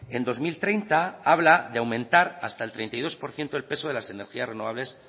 en dos mil treinta habla de aumentar hasta el treinta y dos por ciento el peso de las energías renovables